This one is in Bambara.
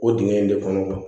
O dingɛ in de kɔnɔ